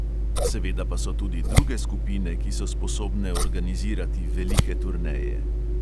Seveda pa so tudi druge skupine, ki so sposobne organizirati velike turneje.